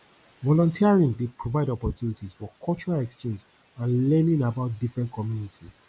volunteering dey provide opportunties for cultural exchange and learning about different communities